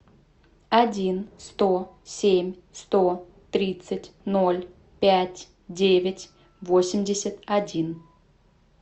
один сто семь сто тридцать ноль пять девять восемьдесят один